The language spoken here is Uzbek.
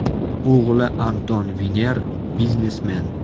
O‘g‘li Anton Viner biznesmen.